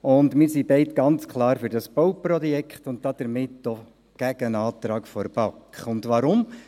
Wir sind beide klar für dieses Bauprojekt und damit gegen den Antrag der BaK. Weshalb?